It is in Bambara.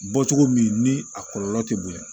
Bɔ cogo min ni a kɔlɔlɔ tɛ bonya